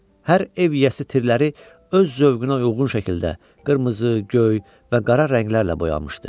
Hər ev yiyəsi tirləri öz zövqünə uyğun şəkildə qırmızı, göy və qara rənglərlə boyamışdı.